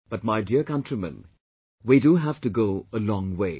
But my dear countrymen, we do have to go a long way